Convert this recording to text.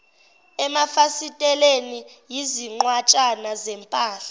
emafasiteleni izinqwatshana zempahla